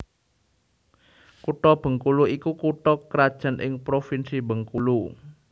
Kutha Bengkulu iku kutha krajan ing Provinsi Bengkulu